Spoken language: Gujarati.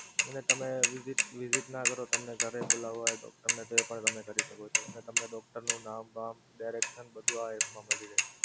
છે ને તમે visit visit ના કરો તમને ઘરે બોલવા હોય doctor ને તો એ પણ તમે કરી શકો છો. તમને doctor નું નામ બામ direction આ બધુ આ app મા મળી રહે.